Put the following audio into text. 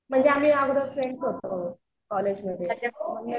म्हणजे आम्ही अगोदर फ्रेंड्स होतो. कॉलेजमध्ये